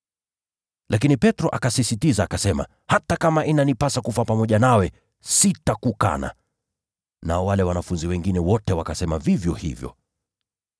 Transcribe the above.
Lakini Petro akasisitiza zaidi, “Hata kama itabidi kufa pamoja nawe, sitakukana kamwe.” Nao wale wengine wote wakasema vivyo hivyo.